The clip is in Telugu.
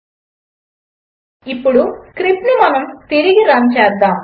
స్కిపీ నుండి స్టార్ ఇంపోర్ట్ చేసుకో ఇప్పుడు స్క్రిప్ట్ను మనము తిరిగి రన్ చేద్దాము